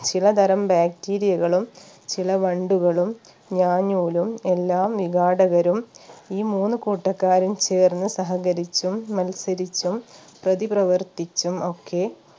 ചിലതരം Bacteria കളും ചില വണ്ടുകളും ഞാഞ്ഞൂലും എല്ലാ വിഘാടകരും ഈ മൂന്ന് കൂട്ടക്കാരും ചേർന്ന് സഹകരിച്ചും മത്സരിച്ചും പ്രതി പ്രവർത്തിച്ചും ഒക്കെ